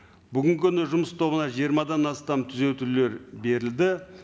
бүгінгі күні жұмыс тобына жиырмадан астам түзетулер берілді